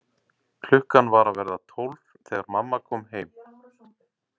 Klukkan var að verða tólf þegar mamma kom heim.